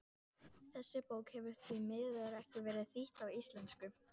Þessi bók hefur því miður ekki verið þýdd á íslensku.